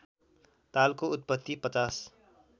तालको उत्पत्ति ५०